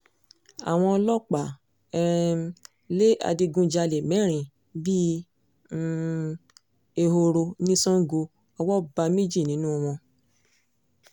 àwọn ọlọ́pàá um lé adigunjalè mẹ́rin bíi um ehoro ní sango owó bá méjì nínú wọn